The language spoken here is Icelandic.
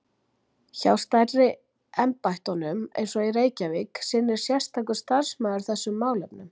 Hjá stærri embættunum, eins og í Reykjavík, sinnir sérstakur starfsmaður þessum málefnum.